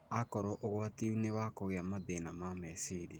akorũo ũgwati-inĩ wa kũgĩa mathĩna meciria.